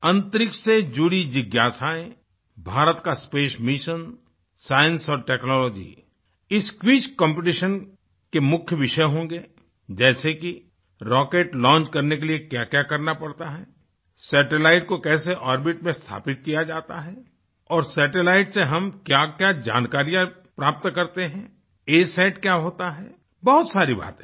अंतरिक्ष से जुड़ी जिज्ञासाएं भारत का स्पेस मिशन साइंस और टेक्नोलॉजी इस क्विज कॉम्पिटिशन के मुख्य विषय होंगे जैसे कि रॉकेट लॉन्च करने के लिए क्याक्या करना पड़ता हैसैटेलाइट को कैसे ओर्बिट में स्थापित किया जाता है और सैटेलाइट से हम क्याक्या जानकारियाँ प्राप्त करते हैंअसत क्या होता है बहुत सारी बातें हैं